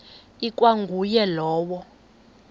ikwa nguye lowo